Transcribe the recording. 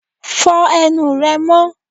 Fo ẹnu rẹ mó!